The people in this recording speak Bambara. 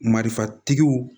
Marifatigiw